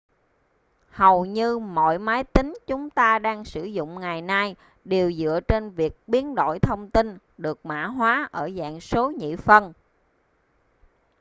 hầu như mọi máy tính chúng ta đang sử dụng ngày này đều dựa trên việc biến đổi thông tin được mã hóa ở dạng số nhị phân